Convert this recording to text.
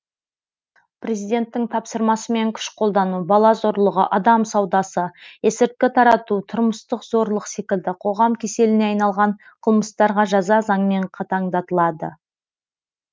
президенттің тапсырмасымен күш қолдану бала зорлығы адам саудасы есірткі тарату тұрмыстық зорлық секілді қоғам кеселіне айналған қылмыстарға жаза заңмен қатаңдатылады